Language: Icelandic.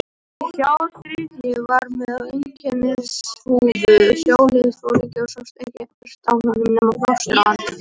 Sá þriðji var með einkennishúfu sjóliðsforingja og sást ekkert á honum nema plástur á andliti.